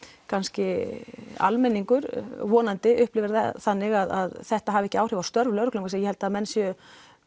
kannski almenningur vonandi upplifir það þannig að þetta hafi ekki áhrif á störf lögreglunnar vegna að ég held að menn séu